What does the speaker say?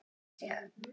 Standa sig.